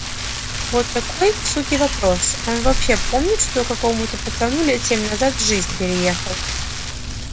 вот какой к суке вопрос он вообще помнит что какому-то пацану лет семь назад жизнь переехал